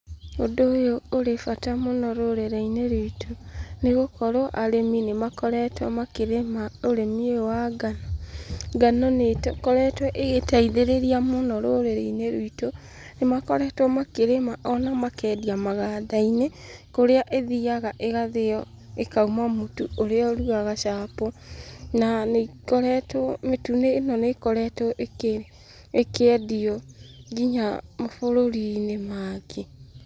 Ũndũ ũyũ ũrĩ bata mũno rũrĩrĩ-inĩ ruitũ nĩ gũkorwo arĩmi nĩ makoretwo makĩrĩma ũrĩmi ũyũ wa ngano. Ngano nĩ ĩkoretwo ĩgĩteithĩrĩria mũno rũrĩrĩ-inĩ ruitũ, nĩ makoretwo makĩrĩma ona makendia maganda-inĩ, kũrĩa ĩthiaga ĩgathĩo ĩkauma mũtu ũrĩa ũrugaga chapo na nĩ ikoretwo, mĩtu ĩno nĩ ĩkoretwo ĩkĩendio nginya mabũrũri-inĩ mangĩ.